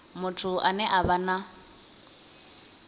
muthu ane a vha na